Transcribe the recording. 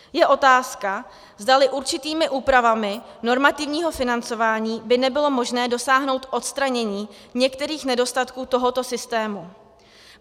Je otázka, zdali určitými úpravami normativního financování by nebylo možné dosáhnout odstranění některých nedostatků tohoto systému.